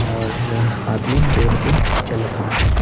और आदमी रोड पे चल रहा है।